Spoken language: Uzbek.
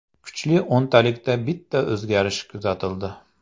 Kuchli o‘ntalikda bitta o‘zgarish kuzatildi.